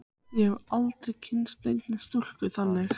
Ég hef aldrei kynnst neinni stúlku þannig.